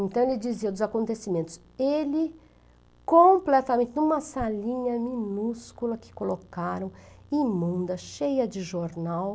Então ele dizia dos acontecimentos, ele completamente em uma salinha minúscula que colocaram, imunda, cheia de jornal.